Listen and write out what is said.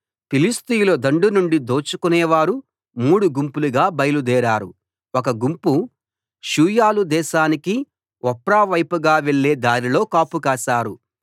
ఫిలిష్తీయుల దండు నుండి దోచుకొనేవారు మూడు గుంపులుగా బయలుదేరారు ఒక గుంపు షూయాలు దేశానికి ఒఫ్రావైపుగా వెళ్లే దారిలో కాపు కాశారు